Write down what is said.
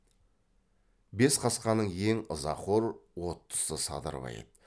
бес қасқаның ең ызақор оттысы садырбай еді